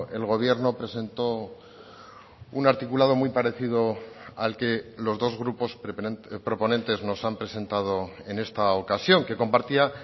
el gobierno presentó un articulado muy parecido al que los dos grupos proponentes nos han presentado en esta ocasión que compartía